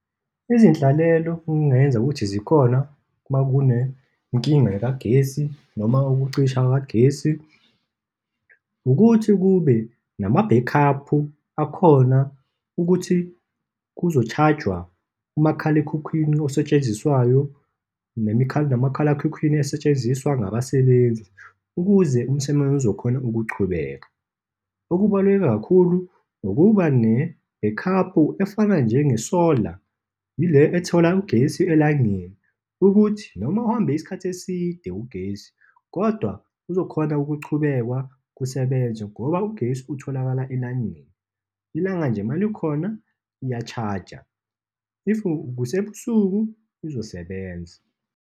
Izinhlalelo okungenzeka ukuthi zikhona uma kunenkinga kagesi, noma ukucisha kukagesi, ukuthi kube namabhekhaphu akhona ukuthi kuzoshajwa umakhalekhukhwini osetshenziswayo nomakhalakhukhwini asetshenziswa ngabasebenzi, ukuze umsebenzi uzokhona ukuchubeka. Okubaluleke kakhulu ukuba nebhekhaphu efana njengesola, yile ethola ugesi elangeni, ukuthi noma uhambe isikhathi eside ugesi kodwa kuzokhona ukuchubekwa kusebenzwe, ngoba ugesi utholakala elangeni. Ilanga nje malikhona, iyashaja. If kusebusuku, izosebenza.